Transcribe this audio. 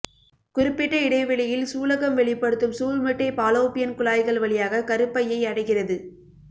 குறிப்பிட்ட இடைவெளியில் சூலகம் வெளிப்படுத்தும் சூல்முட்டை பாலோப்பியன் குழாய்கள் வழியாக கருப்பையை அடைகிறது